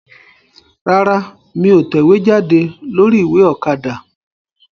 Rárá, mí ò tẹ̀wéjáde lórí ìwé Òkadà